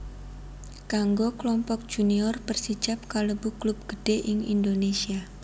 Kanggo Klompok Junior Persijap kalebu klub gedhé ing Indonésia